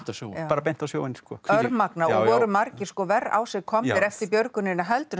á sjóinn bara beint á sjóinn örmagna og voru margir verr á sig komnir eftir björgunina heldur en